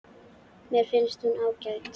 Mér finnst hún ágæt.